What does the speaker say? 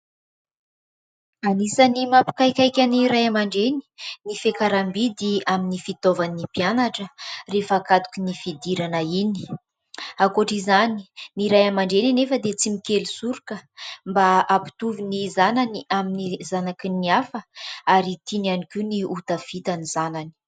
Anisany mampikaikaika ny ray aman-dreny ny fiakaram-bidy amin'ny fitaovan'ny mpianatra rehefa hakatoky ny fidirana iny. Ankoatra izany ny ray aman-dreny anefa dia tsy mikely soroka mba hampitovy ny zanany amin'ny zanaky ny hafa ary tiany ihany koa ny hotafita ny zanany.